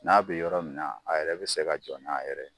N'a bɛ yɔrɔ min na, a yɛrɛ bɛ se ka jɔ n'a yɛrɛ ye.